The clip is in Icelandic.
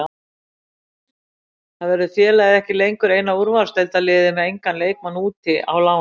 Þá verður félagið ekki lengur eina úrvalsdeildarliðið með engan leikmann úti á láni.